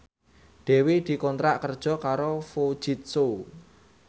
Dewi dikontrak kerja karo Fujitsu